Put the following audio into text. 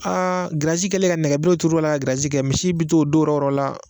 Aa giriyazi kɛlen ka nɛgɛberew tur'a la ka giriyazii kɛ misiw bi t'o o don yɔrɔ yɔrɔ la